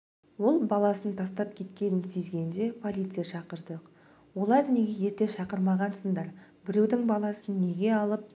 ол баласын тастап кеткенін сезгенде полиция шақырдық олар неге ерте шақырмағансыңдар біреудің баласын неге алып